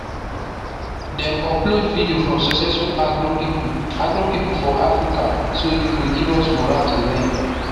dem upload video from successful agro people agro people for africa so e go give us morale to learn